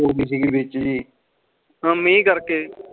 ਕਿਉ ਕਿਸੇ ਕਿ ਬੇਚਿ